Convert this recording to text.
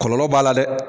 Kɔlɔlɔ b'a la dɛ